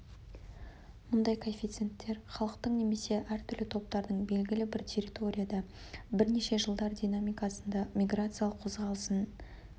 мұндай коэффиценттер халықтың немесе әр түрлі топтардың белгілі бір территорияда бірнеше жылдар динамикасында миграциялық қозғалысын миграциялық қозғалысын